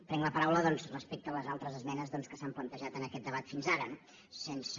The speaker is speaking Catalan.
prenc la paraula doncs respecte a les altres esmenes que s’han plantejat en aquest debat fins ara no sense